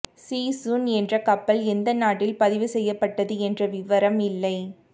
G சுன் என்ற கப்பல் எந்த நாட்டில் பதிவு செய்யப்பட்டது என்ற விவரம் இல்லை